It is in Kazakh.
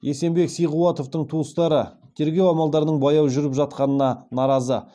есенбек сиғуатовтың туыстары тергеу амалдарының баяу жүріп жатқанына наразы